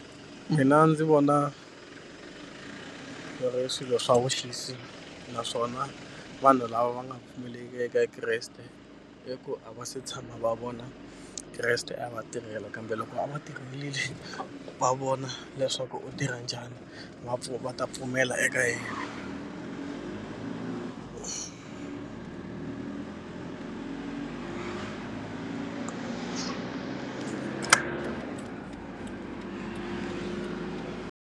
Mina ndzi vona swi ri swilo swa vuxisi naswona vanhu lava va nga pfumeleki eka Kreste i ku a va se tshama va vona Kreste a va tirhela kambe loko a va tirhelini va vona leswaku u tirha njhani va va ta pfumela eka yena.